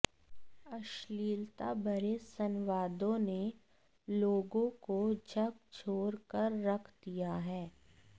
अश्लीलता भरे संवादों ने लोगों को झकझोर कर रख दिया है